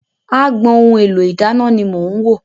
Agbọn ohun èlò ìdáná ni mò ń wò.